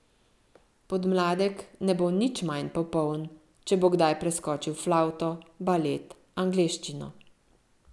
Podmladek ne bo nič manj popoln, če bo kdaj preskočil flavto, balet, angleščino.